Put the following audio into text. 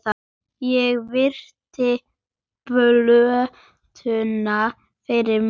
Ég virti plötuna fyrir mér.